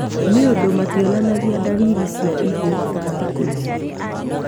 Nĩundu mationanagia ndariri cia ihu ta thikũ ici